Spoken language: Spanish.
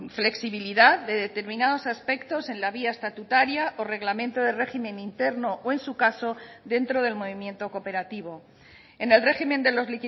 flexibilidad de determinados aspectos en la vía estatutaria o reglamento de régimen interno o en su caso dentro del movimiento cooperativo en el régimen de los